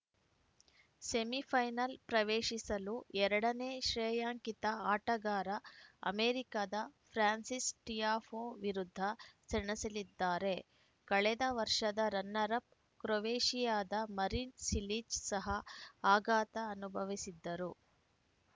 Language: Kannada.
ಸೆಮಿಫೈನಲ್‌ ಪ್ರವೇಶಿಸಲು ಎರಡ ನೇ ಶ್ರೇಯಾಂಕಿತ ಆಟಗಾರ ಅಮೆರಿಕದ ಫ್ರಾನ್ಸಿಸ್‌ ಟಿಯಾಫೋ ವಿರುದ್ಧ ಸೆಣಸಲಿದ್ದಾರೆ ಕಳೆದ ವರ್ಷದ ರನ್ನರ್‌ಅಪ್‌ ಕ್ರೊವೇಷಿಯಾದ ಮರಿನ್‌ ಸಿಲಿಚ್‌ ಸಹ ಆಘಾತ ಅನುಭವಿಸಿದರು